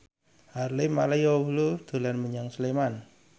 Harvey Malaiholo dolan menyang Sleman